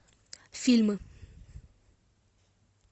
фильмы